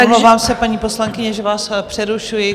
Omlouvám se, paní poslankyně, že vás přerušuji.